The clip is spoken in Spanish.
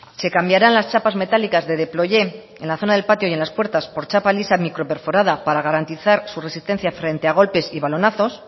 se cambiarán las chapas metálicas de deployé en la zona del patio y en las puertas por chapa lisa microperforada para garantizar su resistencia frente a golpes y balonazos